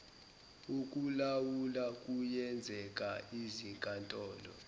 okulawula kuyenzeka izinkantolo